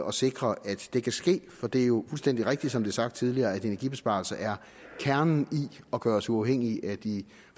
at sikre at det kan ske for det er jo fuldstændig rigtigt som er sagt tidligere at energibesparelser er kernen i at gøre os uafhængige af de